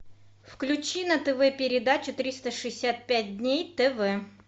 включи на тв передачу триста шестьдесят пять дней тв